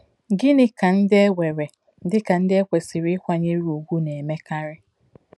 Gịnị ka ndị e weere dị ka ndị e kwesịrị ịkwanyere ùgwù na-emekarị?